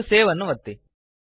ಮತ್ತು ಸೇವ್ ಅನ್ನು ಒತ್ತಿ